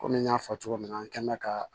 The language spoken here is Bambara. Kɔmi n y'a fɔ cogo min na an kɛn bɛ ka